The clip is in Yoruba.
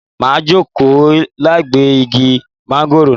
Màá jókòó lábẹ́ igi mángóròò náà